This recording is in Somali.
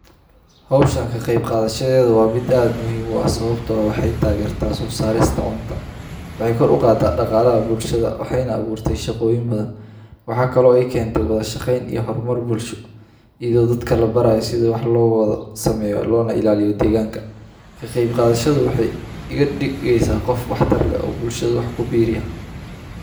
Hoshan ka qeb qadashadeda waa mid aad muhiim u ah sawabto ah waxee tagerta sosarista cuntada waxee kor u qada daqalaha bulshaada waxena tagerta nafaqoyin badan waxee kenta hormar iyada oo dadka labarayo sithi wax lo sameyo lona ilaliyo deganka ka qeb qadashadu waxee iga digeysa qof qatar leh oo bulshaada wax ku beriya.